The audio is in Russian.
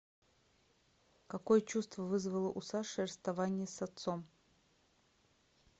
какое чувство вызвало у саши расставание с отцом